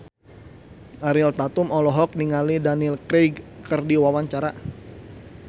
Ariel Tatum olohok ningali Daniel Craig keur diwawancara